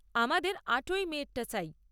আমাদের আটই মে'র টা চাই।